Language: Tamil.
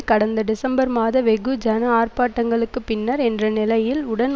கடந்த டிசம்பர் மாத வெகு ஜன ஆர்ப்பாட்டங்களுக்கு பின்னர் என்ற நிலையில் உடன்